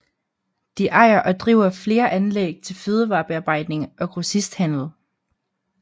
De ejer og driver flere anlæg til fødevarebearbejdning og grossisthandel